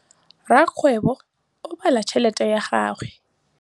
Rakgwêbô o bala tšheletê ya gagwe.